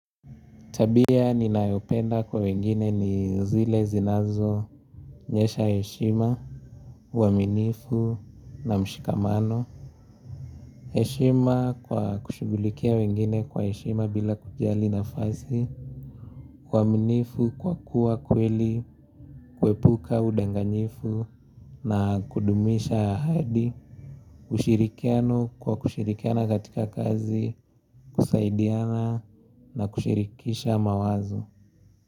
Tabia ninayopenda kwa wengine ni zile zinazo onyesha heshima, uaminifu na mshikamano. Heshima kwa kushughulikia wengine kwa heshima bila kujali nafasi, uaminifu kwa kuwa kweli, kuepuka udanganyifu na kudumisha ahadi, ushirikiano kwa kushirikiana katika kazi, kusaidiana na kushirikisha mawazo.